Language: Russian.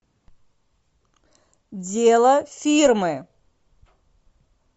дело фирмы